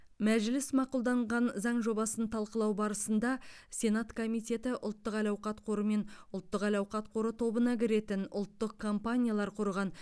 мәжіліс мақұлданған заң жобасын талқылау барысында сенат комитеті ұлттық әл ауқат қоры мен ұлттық әл ауқат қоры тобына кіретін ұлттық компаниялар құрған